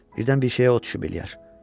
Birdən bir şeyə ox düşüb eləyər.